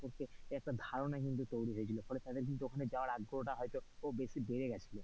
একটা ধারণা কিন্তু তৈরী হয়েছিল ফলে তাদের ওখানে যাওয়ার আগ্রহও টা হয়তো বেশি বেড়ে গিয়েছিলো okay.